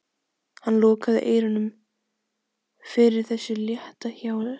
Hann lokaði eyrunum fyrir þessu létta hjali.